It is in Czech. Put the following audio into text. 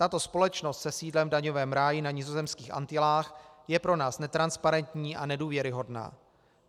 Tato společnost se sídlem v daňovém ráji na nizozemských Antilách je pro nás netransparentní a nedůvěryhodná.